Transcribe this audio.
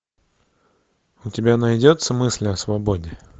у тебя найдется мысли о свободе